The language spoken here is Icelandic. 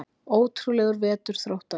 Ótrúlegur vetur Þróttara